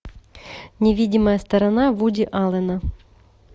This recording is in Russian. невидимая сторона вуди аллена